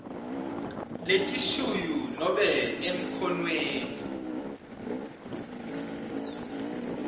letishuyu nobe emkhonweni